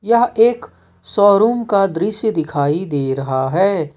यह एक शोरूम का दृश्य दिखाई दे रहा है।